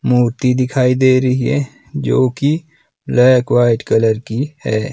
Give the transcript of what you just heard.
मूर्ती दिखाई दे रही है जो कि ब्लैक व्हाईट कलर की है।